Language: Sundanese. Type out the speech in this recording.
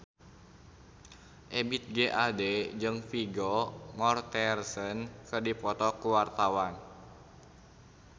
Ebith G. Ade jeung Vigo Mortensen keur dipoto ku wartawan